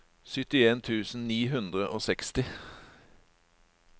syttien tusen ni hundre og seksti